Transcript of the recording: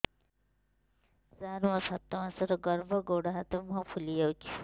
ସାର ମୋର ସାତ ମାସର ଗର୍ଭ ଗୋଡ଼ ହାତ ମୁହଁ ଫୁଲି ଯାଉଛି